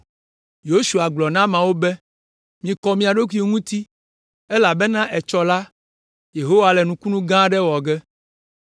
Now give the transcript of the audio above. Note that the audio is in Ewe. Yosua gblɔ na ameawo be, “Mikɔ mia ɖokuiwo ŋuti, elabena etsɔ la, Yehowa le nukunu gã aɖe wɔ ge.”